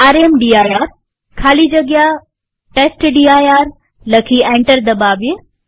રામદીર ખાલી જગ્યા ટેસ્ટડિર લખી એન્ટર દબાવીએ